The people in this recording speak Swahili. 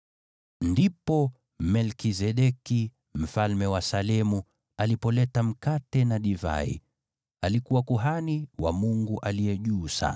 Ndipo Melkizedeki mfalme wa Salemu alipoleta mkate na divai. Alikuwa kuhani wa Mungu Aliye Juu Sana.